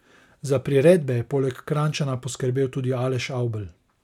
Za priredbe je poleg Krajnčana poskrbel tudi Aleš Avbelj.